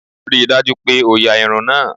Ríi dájú pé o ya irun náà!